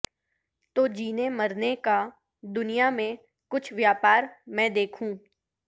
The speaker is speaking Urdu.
تو جینے مرنے کا دنیا میں کچھ ویاپار میں دیکھوں